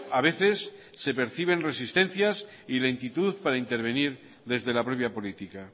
a veces se perciben resistencias y lentitud para intervenir desde la propia política